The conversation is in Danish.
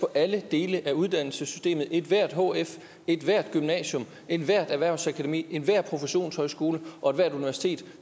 alle dele af uddannelsessystemet ethvert hf center ethvert gymnasium ethvert erhvervsakademi enhver professionshøjskole og ethvert universitet